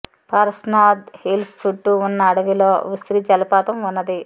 Parasnath hills చుట్టూ ఉన్న అడవిలో ఉశ్రి జలపాతం ఉన్నది